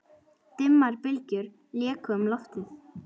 Dimmar bylgjur léku um loftið.